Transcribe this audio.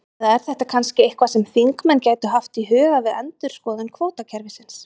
Eða er þetta kannski eitthvað sem þingmenn gætu haft í huga við endurskoðun kvótakerfisins?